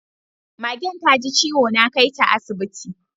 Magen taji ciwo, na kaita asibitin dabbobi